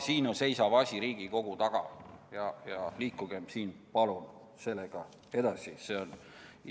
Siin seisab asi Riigikogu taga ja liikugem siin, palun, sellega edasi!